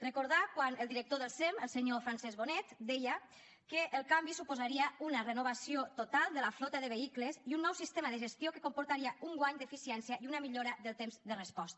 recordar quan el director del sem el senyor francesc bonet deia que el canvi suposaria una renovació total de la flota de vehicles i un nou sistema de gestió que comportaria un guany d’eficiència i una millora del temps de resposta